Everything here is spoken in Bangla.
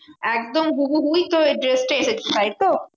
একদম হুবহুই তোর ওই dress টা এসেছে তাইতো?